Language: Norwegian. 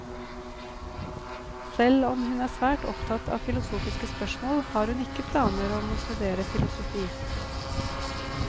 Selv om hun er svært opptatt av filosofiske spørsmål, har hun ikke planer om å studere filosofi.